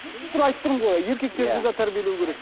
айтып тұрмын ғой еркектерді де тәрбиелеу керек